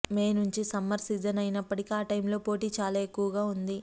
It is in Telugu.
మే మంచి సమ్మర్ సీజన్ అయినప్పటికీ ఆ టైంలో పోటీ చాలా ఎక్కువగా ఉంది